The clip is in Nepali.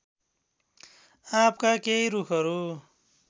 आँपका केही रूखहरू